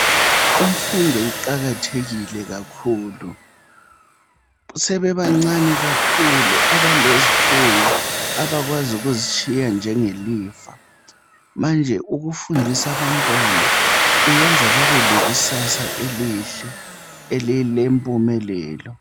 Imfundo iqakathekile kakhulu. Sebebancane kakhulu, abalezifuyo. Abakwazi ukuzitshiya njengelifa. Manje ukufundisa abantwana, kuyenza babe lekusasa elihle. Elilempumelelo.